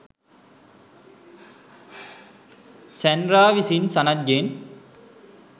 Sandra විසින් සනත්ගෙන්